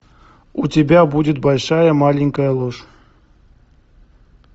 у тебя будет большая маленькая ложь